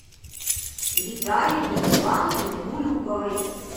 виталией ивановной мулюковой